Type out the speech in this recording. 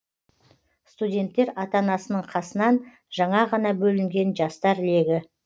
студенттер ата анасының қасынан жаңа ғана бөлінген жастар легі